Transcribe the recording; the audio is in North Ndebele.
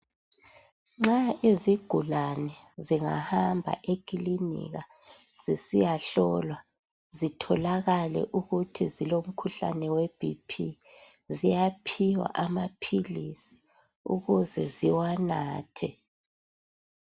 Nxa izigulane zingahamba ekilinika zisiyahlolwa zitholakale ukuthi zilomkhuhlane we bhiphi ziyaphiwa amaphilisi ukuze ziwanathe.